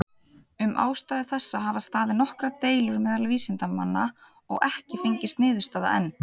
Um ástæðu þessa hafa staðið nokkrar deilur meðal vísindamanna, og ekki fengist niðurstaða enn.